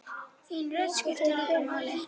Þín rödd skiptir líka máli.